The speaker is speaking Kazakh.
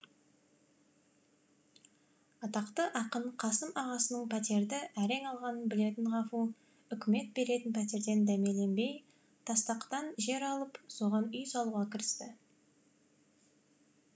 атақты ақын қасым ағасының пәтерді әрең алғанын білетін ғафу үкімет беретін пәтерден дәмеленбей тастақтан жер алып соған үй салуға кірісті